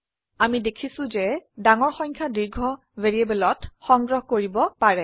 আমি দেখিছো যে ডাঙৰ সংখ্যা দীৰ্ঘ ভ্যাৰিয়েবলত সংগ্ৰহ কৰিব পাৰে